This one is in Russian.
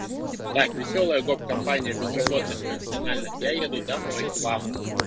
так весёлая гоп компания безработных профессиональных я еду домой к вам